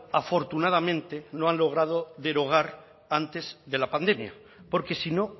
afortunadamente no han logrado derogar antes de la pandemia porque si no